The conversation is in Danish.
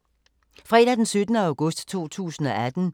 Fredag d. 17. august 2018